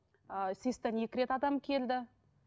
ыыы сэс тан екі рет адам келді